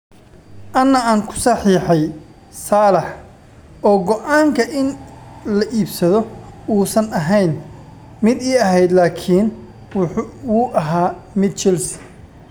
"Anaa aan ku saxiixay Salah, oo go'aanka in la iibsado uusan ahayn mid ii ahayd, laakiin wuu ahaa mid Chelsea."